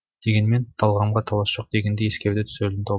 дегенмен талғамға талас жоқ дегенді ескереді түсірілім топ